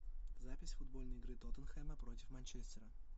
запись футбольной игры тоттенхэма против манчестера